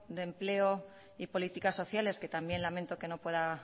de empleo y políticas sociales que también lamento que no pueda